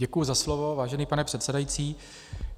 Děkuji za slovo, vážený pane předsedající.